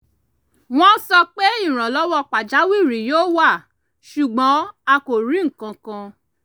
wọ́n sọ pé ìrànlọ́wọ́ pajawiri yóò wá ṣùgbọ́n a kò rí nkankan